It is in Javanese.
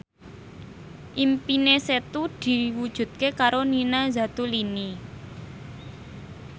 impine Setu diwujudke karo Nina Zatulini